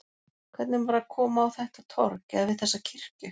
Hvernig var að koma á þetta torg, eða við þessa kirkju?